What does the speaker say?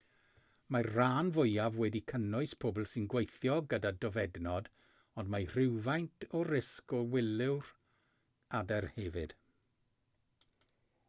mae'r rhan fwyaf wedi cynnwys pobl sy'n gweithio gyda dofednod ond mae rhywfaint o risg i wylwyr adar hefyd